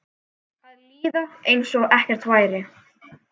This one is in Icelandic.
Að líða einsog ekkert væri.